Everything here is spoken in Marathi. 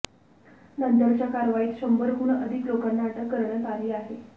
नंतरच्या कारवाईत शंभरहून अधिक लोकांना अटक करण्यात आली आहे